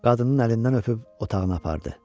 Qadının əlindən öpüb otağına apardı.